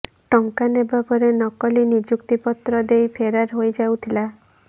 ଟଙ୍କା ନେବା ପରେ ନକଲି ନିଯୁକ୍ତି ପତ୍ର ଦେଇ ଫେରାର ହୋଇଯାଉଥିଲା